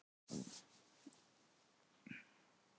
Ég er farinn að blána í framan.